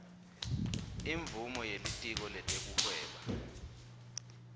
imvumo yelitiko letekuhweba